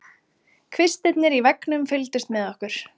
Kvistirnir í veggnum fylgdust með okkur.